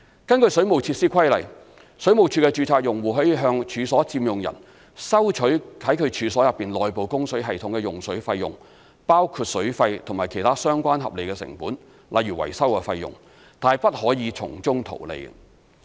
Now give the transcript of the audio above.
根據《水務設施規例》，水務署的註冊用戶可向處所佔用人收取在其處所內部供水系統的用水費用，包括水費及其他相關合理成本，例如維修費用，但不可從中圖利。